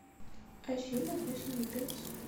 афина восемью пять